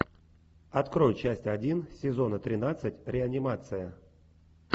открой часть один сезона тринадцать реанимация